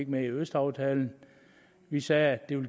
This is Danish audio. med i østaftalen vi sagde at det var